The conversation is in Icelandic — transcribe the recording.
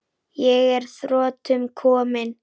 Ég er að þrotum kominn.